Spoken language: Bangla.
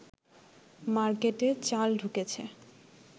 মার্কেটে চাল ঢুকেছে